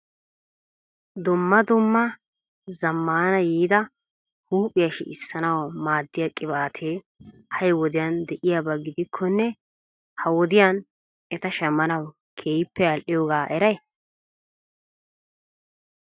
Dumma dumma zammana yiida huuphiya sicjchanaw maaddoyaa qibatetti ha'i wodiyaan de'iyaaba gidikkonne ha wodiya eta shammanaw keehippe al"iyooga eray ?